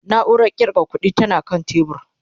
nauran ƙirga ƙuɗi tana kan tebur